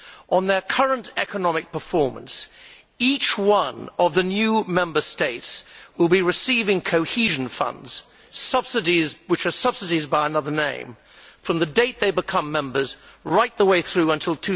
On their current economic performance, each one of the new Member States will be receiving cohesion funds which are subsidies by another name from the date they become members right the way through until